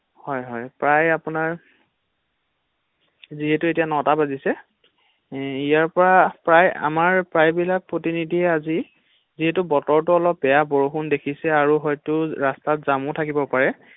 হয় হয় প্ৰায় আপোনাৰ ৷ যিহেতু এতিয়া ন টা বাজিছে ইয়াৰ পৰা প্ৰায় আমাৰ প্ৰায় বিলাক প্ৰতিনিধিয়ে আজি যিহেতু বতৰটো অলপ বেয়া বৰষুণ দেখিছে আৰু হয়তো ৰাস্তাত জামো থাকিব পাৰে ৷